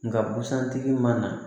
Nka busan tigi mana na